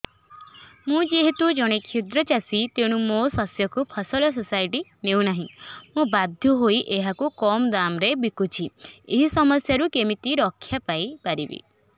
ମୁଁ ଯେହେତୁ ଜଣେ କ୍ଷୁଦ୍ର ଚାଷୀ ତେଣୁ ମୋ ଶସ୍ୟକୁ ଫସଲ ସୋସାଇଟି ନେଉ ନାହିଁ ମୁ ବାଧ୍ୟ ହୋଇ ଏହାକୁ କମ୍ ଦାମ୍ ରେ ବିକୁଛି ଏହି ସମସ୍ୟାରୁ କେମିତି ରକ୍ଷାପାଇ ପାରିବି